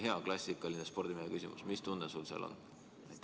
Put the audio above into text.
Hea klassikaline spordimehe küsimus: mis tunne sul seal on?